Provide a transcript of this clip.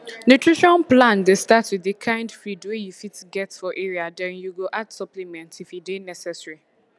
nutrition plan dey start with the kind feed wey you fit get for area then you go add supplement if e dey necessary